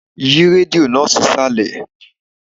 Yí rédíò náà sísàlẹ̀.!